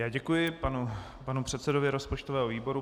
Já děkuji panu předsedovi rozpočtového výboru.